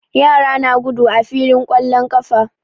Yara na gudu a filin ƙwallon ƙafa.